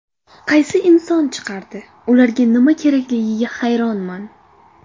Qaysi inson chiqardi, ularga nima kerakligiga hayronman?